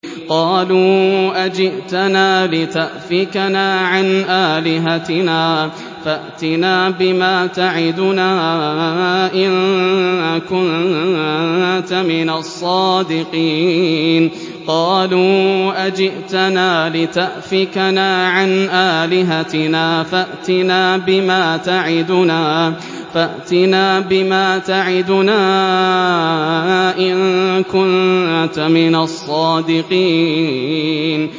قَالُوا أَجِئْتَنَا لِتَأْفِكَنَا عَنْ آلِهَتِنَا فَأْتِنَا بِمَا تَعِدُنَا إِن كُنتَ مِنَ الصَّادِقِينَ